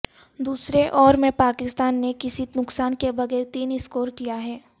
دوسرے اوور میں پاکستان نے کسی نقصان کے بغیر تین سکور کیا ہے